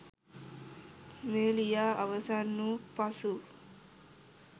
මෙය ලියා අවසන් වූ පසු